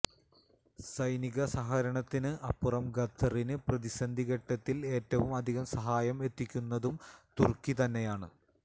സൈനിക സഹകരണത്തിന് അപ്പുറം ഖത്തറിന് പ്രതിസന്ധി ഘട്ടത്തില് ഏറ്റവും അധികം സഹായം എത്തിക്കുന്നതും തുര്ക്കി തന്നെയാണ്